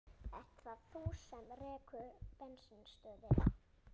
Ert það þú sem rekur bensínstöðina?